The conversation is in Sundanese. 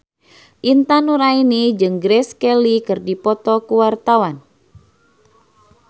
Intan Nuraini jeung Grace Kelly keur dipoto ku wartawan